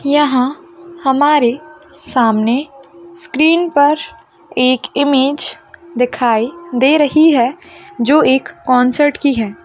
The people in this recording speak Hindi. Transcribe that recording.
यहा हमारे सामने स्क्रीन पर एक मेज दिखाइ दे रही है जो एक कॉण्सर्ट की है।